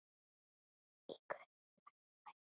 Í guðanna bænum hættu